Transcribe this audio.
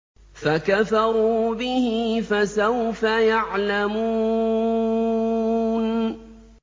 فَكَفَرُوا بِهِ ۖ فَسَوْفَ يَعْلَمُونَ